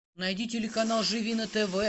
найди телеканал живи на тв